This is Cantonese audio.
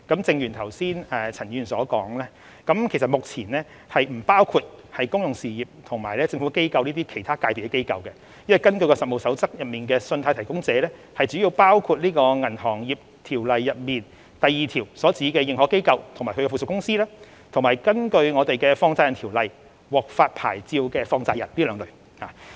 正如陳議員剛才所說，信貸提供者目前並不包括公用事業和政府機構等其他界別的機構，因為根據《實務守則》，信貸提供者主要包括《銀行業條例》第2條所指的認可機構及其附屬公司，以及根據《放債人條例》獲發牌照的放債人。